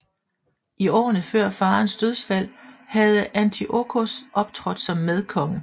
I årene før faderens dødsfald havde Antiochos optrådt som medkonge